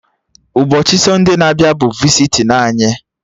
Ụbọchị sọnde na-abịa bụ visitin anyị